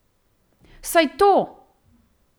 Saj to!